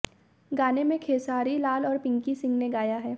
गाने में खेसारी लाल और पिंकी सिंह ने गाया है